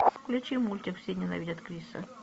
включи мультик все ненавидят криса